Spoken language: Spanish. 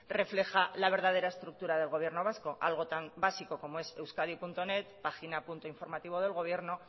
refleja la verdadera estructura del gobierno vasco algo tan básico como es euskadinet página punto informativo del gobierno